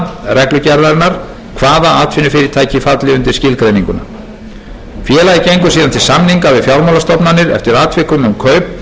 reglugerðarinnar hvaða atvinnufyrirtæki falli undir skilgreininguna félagið gengur síðan til samninga við fjármálastofnanir eftir atvikum um kaupin enda rúmist þau innan fjárhags félagsins miklu skiptir að félag sem